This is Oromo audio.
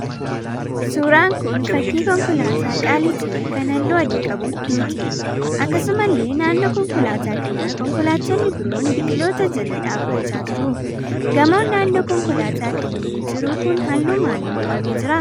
Suuraan kun fakkii konkolaataa qaalii ta'e kan halluu adii qabduuti. Akkasumallee naannoo konkolaataa kanaa konkolaattonni biroon biqiloota jala dhaabbachaa jiru. Gamoon naannoo konkolaataa kanneeni jiru kun halluu maaliin dibamee jira?